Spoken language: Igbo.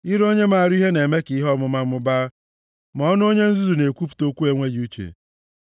Ire onye maara ihe na-eme ka ihe ọmụma mụbaa, ma ọnụ onye nzuzu na-ekwupụta okwu enweghị uche.